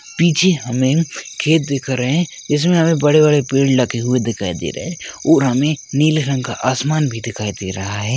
पीछे हमें खेत दिख रहे है इसमें हमें बड़े बड़े पेड़ लगे हुए दिखाई दे रहे है वू हमें नील रंग का आसमान भी दिखाई दे रहा है।